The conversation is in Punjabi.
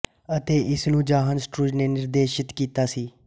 ਅਤੇ ਇਸਨੂੰ ਜਾਹਨ ਸਟਰੂਜ ਨੇ ਨਿਰਦੇਸ਼ਿਤ ਕੀਤਾ ਸੀ